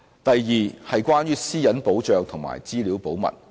第二，關於私隱保障及資料保密。